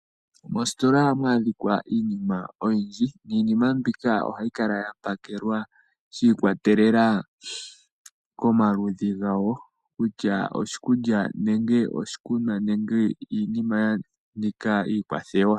Mostola ohamu adhika iinima oyindji, niinima mbika ohayi kala ya pakelwa shiikwatelela komaludhi ga wo, kutya oshikulya nenge oshikunwa nenge iinima ya nika iikwathewa.